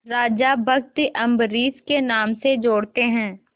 राजा भक्त अम्बरीश के नाम से जोड़ते हैं